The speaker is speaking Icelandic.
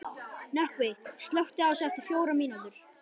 Nökkvi, slökktu á þessu eftir fjórar mínútur.